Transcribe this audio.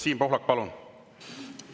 Siim Pohlak, palun!